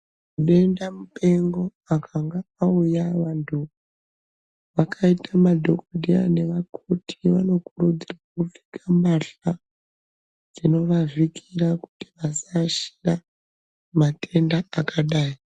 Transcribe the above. Denda mupengo akanga auya muntu akaita madhokodheya naevkoti vanokurudzirwa kupfeka mbahla dzinovavhikira kuti asashanda matenda akadai.